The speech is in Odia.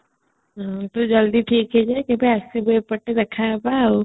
ତୁ ଜଲଦି ଠିକ ହେଇଯା କେବେ ଆସିଲେ ଏପଟେ ଦେଖାହବା